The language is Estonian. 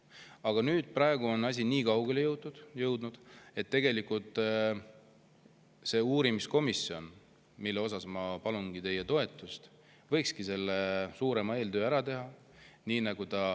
Aga praegu on asi jõudnud nii kaugele, et see uurimiskomisjon, mille moodustamisele ma palungi teie toetust, võikski selle suurema eeltöö ära teha.